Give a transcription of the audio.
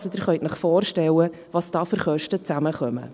Also, Sie können sich vorstellen, was da für Kosten zusammenkommen.